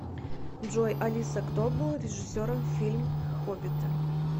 джой алиса кто был режиссером фильм хоббиты